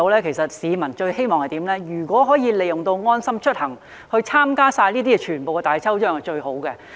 其實，市民最希望的是可以利用"安心出行"參加全部各項大抽獎。